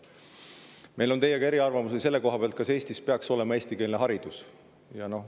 Meil on teiega eriarvamusi selle koha pealt, kas Eestis peaks olema eestikeelne haridus.